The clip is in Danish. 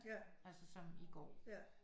Altså som i går